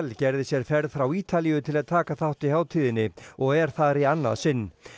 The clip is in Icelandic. gerði sér ferð frá Ítalíu til að taka þátt í hátíðinni og er þar í annað sinn